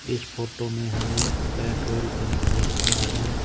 इस फोटो में हमें पेट्रोल पंप देख रहा है।